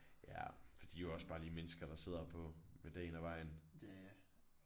Ja for de jo også bare lige mennesker der sidder på med dagen og vejen